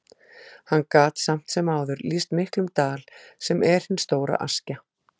Hann gat samt sem áður lýst miklum dal, sem er hin stóra Askja.